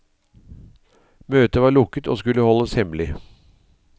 Møtet var lukket og skulle holdes hemmelig.